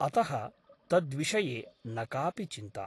अतः तद्विषये न कापि चिन्ता ।